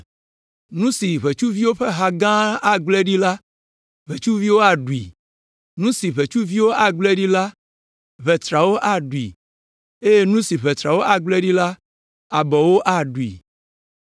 Nu siwo ʋetsuviwo ƒe ha gã agblẽ ɖi la, ʋetsuviwo aɖui, nu siwo ʋetsuviwo agblẽ ɖi la, ʋetrawo aɖui, eye nu siwo ʋetrawo agblẽ ɖi la, abɔwo aɖui.